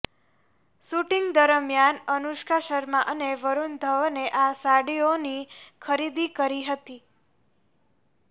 shooting દરમિયાન અનુષ્કા શર્મા અને વરૂણ ધવને આ સાડીઓની ખરીદી કરી હતી